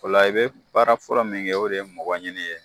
Ola i bɛe baara fɔlɔ min kɛ o de ye mɔgɔ ɲini ye